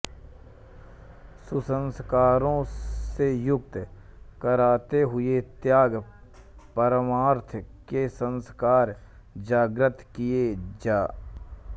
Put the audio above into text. कुसंस्कारों से मुक्त कराते हुए त्याग परमार्थ के संस्कार जाग्रत् किये जा